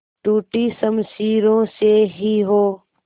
टूटी शमशीरों से ही हो